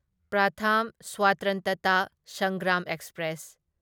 Pratham Swatantrata Sangram express